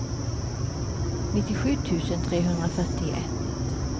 nittiosju tusen trehundrafyrtioett